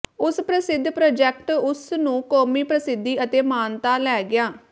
ਉਸ ਪ੍ਰਸਿੱਧ ਪ੍ਰਾਜੈਕਟ ਉਸ ਨੂੰ ਕੌਮੀ ਪ੍ਰਸਿੱਧੀ ਅਤੇ ਮਾਨਤਾ ਲੈ ਗਿਆ